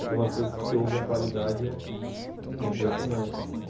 Aí tem umas coisas que você ouve e a qualidade é impressionante, assim.